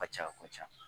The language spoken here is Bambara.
Ka ca ka ca